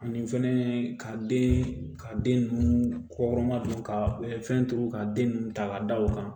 Ani fɛnɛ ka den ka den ninnu k'o kɔnɔma don ka fɛn turu ka den ninnu ta k'a da o kan